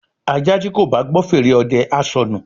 ajá tí kò bá gbọ́ fèrè ọdẹ á sọnù